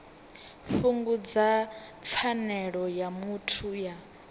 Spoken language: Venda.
fhungudza pfanelo ya muthu ya